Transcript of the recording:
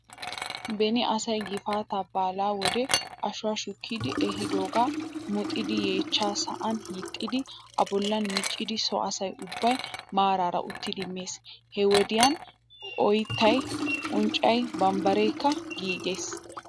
Beni asay gifaataa baalaa wode ashuwaa shukkidi ehiidoogaa muxidi yeechaa sa'an hiixxidi a bollan miccidi so asay ubbay maaraara uttidi mees. He wodiyan oyttay unccay bambbareekka giigees.